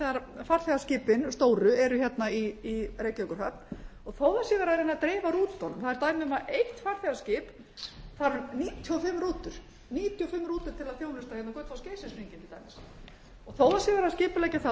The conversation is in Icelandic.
sérstaklega þegar farþegaskipin stóru eru hérna í reykjavíkurhöfn þó það sé verið að reyna að dreifa rútunum það er dæmi um að eitt farþegaskip þarf níutíu og fimm rútur níutíu og fimm rútur til að þjónusta hérna gullfoss og geysis hringinn til dæmis þó það sé verið að